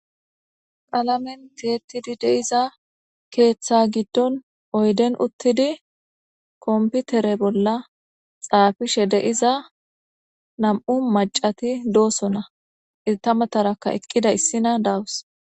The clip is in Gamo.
Qalamen tiyetidi de'iza keetha giddon oyden uttidi kompitere bolla xaafishe de'iza nam'u maccati dosonna; eeta matara eqqida issina dawus.